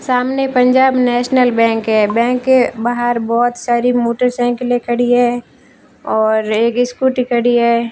सामने Punjab national bank है bank के बाहर बहोत सारी मोटरसाइकिलें खड़ी हैं और एक स्कूटी खड़ी है।